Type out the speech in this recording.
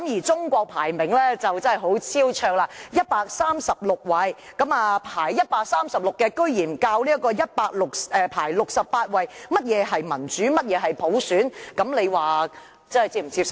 中國的排名真的很超卓，排名為136位，排名136位的國家竟然教導排名68位的城市何謂民主、何謂普選，這樣大家是否能接受呢？